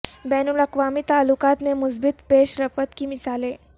بین الاقوامی تعلقات میں مثبت پیش رفت کی مثالیں